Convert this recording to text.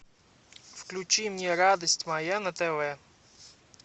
включи мне радость моя на тв